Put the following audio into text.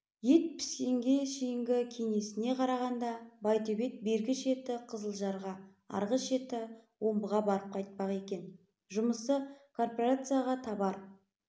ет піскенге шейінгі кеңесіне қарағанда байтөбет бергі шеті қызылжарға арғы шеті омбыға барып қайтпақ екен жұмысы кооперацияға товар